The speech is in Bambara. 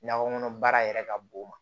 Nakɔ kɔnɔ baara yɛrɛ ka bon o ma